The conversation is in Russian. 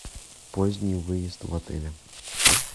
поздней выезд в отеле